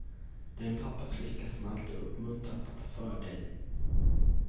Du är en pappas flicka som alltid uppmuntrats att ta för dig.